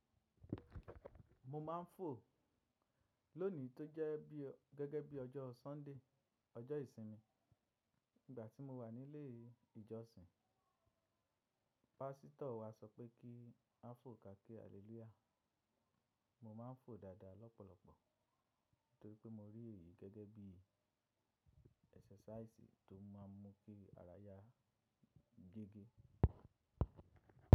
Mo ma n fo loni to je bi gege bi ojo Sunday, ojo isinmi. Igba ti mo wa ni ile ijosin, pasito wa so pe ki a fo, ka ki haleluya. Mo ma n fo dada lopolopo nitori pe mo ri eyi gẹ́gẹ́ bí exercise to ma n mu ki ara ya gege.